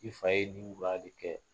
I fa ye nin de kɛ.